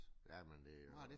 Ja men det jo